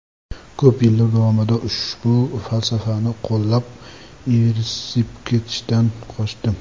Ko‘p yillar davomida ushbu falsafani qo‘llab, ivirsib ketishdan qochdim.